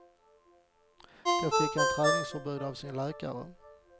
Då fick han träningsförbud av sin läkare.